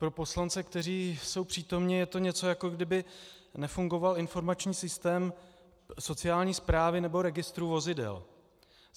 Pro poslance, kteří jsou přítomni - je to něco, jako kdyby nefungoval informační systém sociální správy nebo registrů vozidel.